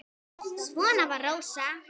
Svona var Rósa.